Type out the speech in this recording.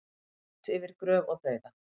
Út yfir gröf og dauða